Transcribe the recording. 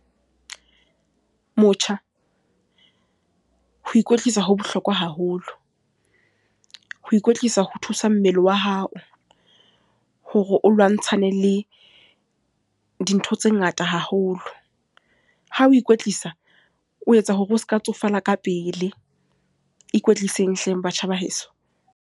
Motjha, ho ikwetlisa ho bohlokwa haholo. Ho ikwetlisa ho thusa mmele wa hao, hore o lwantshana le dintho tse ngata haholo. Ha o ikwetlisa, o etsa hore o se ka tsofale ka pele. Ikwetliseng hleng batjha ba heso.